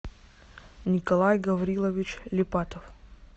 николай гаврилович липатов